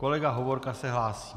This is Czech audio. Kolega Hovorka se hlásí.